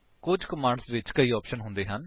ਕੁੱਝ ਕਮਾਂਡਸ ਵਿੱਚ ਕਈ ਆਪਸ਼ਨਸ ਹੁੰਦੇ ਹਨ